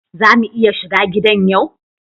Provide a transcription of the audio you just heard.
Za mu iya shiga gidan yau?